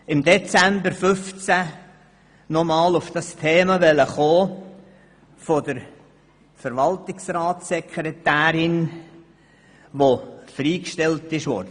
Im Dezember 2015 wollte ich das Thema der freigestellten Verwaltungsratssekretärin ansprechen.